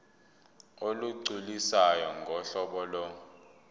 olugculisayo ngohlobo lo